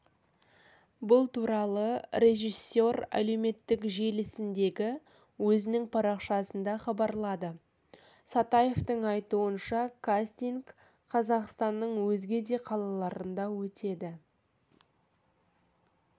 бұл туралы режиссер әлеуметтік желісіндегі өзінің парақшасында хабарлады сатаевтың айтуынша кастинг қазақстанның өзге де қалаларында өтеді